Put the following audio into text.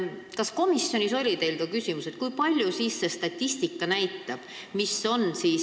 Kas komisjonis oli teil ka küsimus, mida siis statistika näitab?